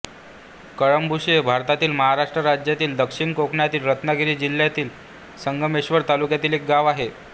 कळंबुशी हे भारतातील महाराष्ट्र राज्यातील दक्षिण कोकणातील रत्नागिरी जिल्ह्यातील संगमेश्वर तालुक्यातील एक गाव आहे